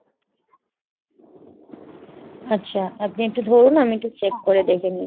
আচ্ছা, আপনি একটু ধরুন আমি একটু check করে দেখে নিচ্ছি ।